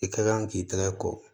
I ka kan k'i tɛgɛ ko